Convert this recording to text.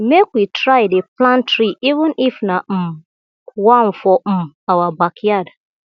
mek we try dey plant tree even if na um one for um our backyard